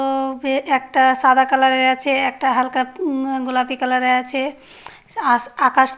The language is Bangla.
ও-ও বে একটা সাদা কালার -এ আছে। একটা হালকা উম গোলাপী কালার -এ আছে । আস আকাশ--